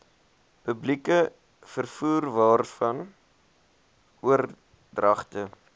publieke vervoerwaarvan oordragte